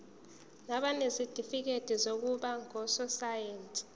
nabanezitifikedi zokuba ngososayense